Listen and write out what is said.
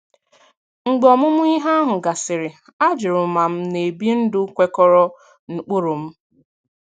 Mgbe ọmụmụ ihe ahụ gasịrị, ajụrụ m ma m na-ebi ndụ kwekọrọ n'ụkpụrụ m.